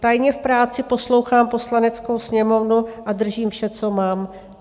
Tajně v práci poslouchám Poslaneckou sněmovnu a držím vše, co mám."